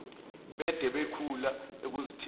bede bekhula ekuzethembeni